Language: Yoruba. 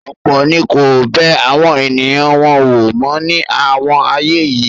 ọ̀pọ̀ ni kò bẹ àwọn ènìyàn wọn wò mó ní àwọn ààyè yìí.